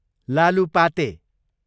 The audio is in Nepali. लालुपाते